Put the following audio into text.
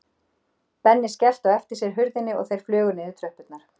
Benni skellti á eftir sér hurðinni og þeir flugu niður tröppurnar.